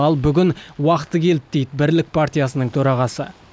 ал бүгін уақыты келді дейді бірлік партиясының төрағасы